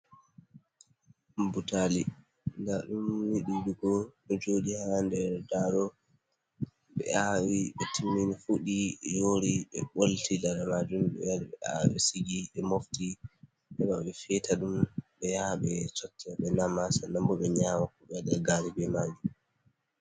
Butali nda ɗum ni ɗuɗugo ɗo joɗi ha nder daro, ɓe awi ɓe timini fuɗi, yori, ɓe bolti lare majum ɓe wari ɓe awi ɓe sigi, ɓe mofti heɓa ɓe feta ɗum ɓe yaha ɓe sota ɓe nama, sannan bo ɓe nyawa ko ɓe waɗa gari be majum.